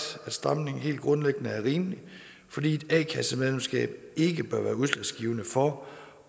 at stramningen helt grundlæggende er rimelig fordi et a kassemedlemskab ikke bør være udslagsgivende for